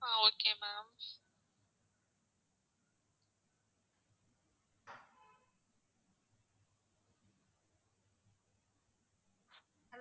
ah okay ma'am